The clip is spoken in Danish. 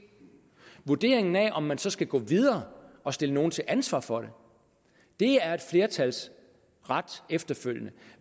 vurderingen af om man så skal gå videre og stille nogle til ansvar for det er et flertals ret efterfølgende